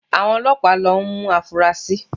Àwọn Ọlọ́pàá ń lọ mú afurasí